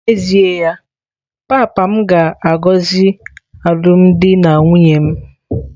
N'ezie ya, papa m ga-agọzi alụmdi na nwunye m.